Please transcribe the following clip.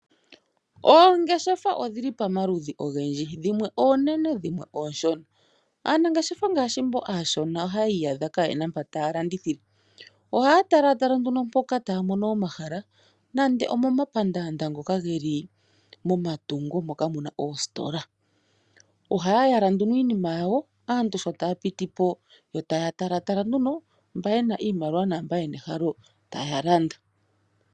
Oongeshefa odhili pamaludhi ogendji dhimwe oonene dhimwe ooshona. Aanangeshefa ngaashi mboka aashona ohayi iyadha kayena mpoka ta yalandithile. Ohaya tala mpono taya mono omahala momapandanda ngoka geli momatungo mono muna oositola. Ohaya yala iinima yawo, aantu sho taya piti po taya talapo mba yena iimaliwa naamba yena ehalo ta yalanda.